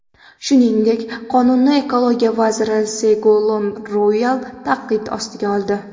Shuningdek, qonunni ekologiya vaziri Segolen Ruayal tanqid ostiga oldi.